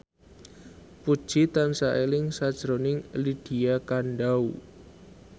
Puji tansah eling sakjroning Lydia Kandou